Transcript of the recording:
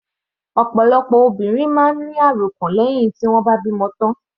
Ọ̀pọ̀lọpọ̀ obìnrin máa ń ní àròkàn lẹ́hìn tí wọ́n bá bímọ tán.